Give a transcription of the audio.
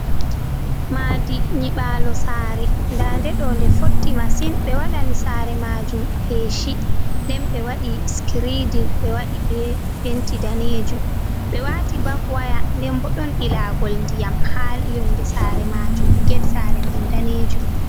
Ma'di nyiɓalo sare. Nda nde ɗo nde fotti masin. Ɓe waɗini sare majum peshi, nden ɓe waɗi skredin ɓe waɗi be penti danejum ɓe wati bak waya, nden bo ɗon ilagol ndiyam ha yonde sare majum. Get sare man danejum.